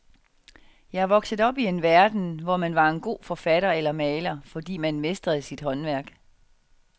Jeg er vokset op i en verden, hvor man var en god forfatter eller maler, fordi man mestrede sit håndværk.